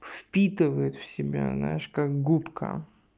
впитывает в себя знаешь как губка